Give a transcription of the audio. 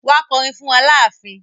Wa kọ'rin fún wa láàfin.